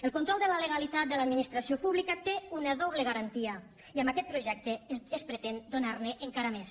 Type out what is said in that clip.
el control de la legalitat de l’administració pública té una doble garantia i amb aquest projecte es pretén donarne encara més